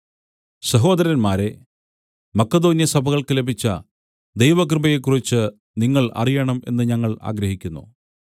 സഹോദരന്മാരേ മക്കെദോന്യ സഭകൾക്ക് ലഭിച്ച ദൈവകൃപയെക്കുറിച്ച് നിങ്ങൾ അറിയണം എന്ന് ഞങ്ങൾ ആഗ്രഹിക്കുന്നു